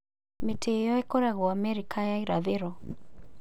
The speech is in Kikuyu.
Mĩtĩ ĩyo ĩkoragwo Amerika ya Irathĩro.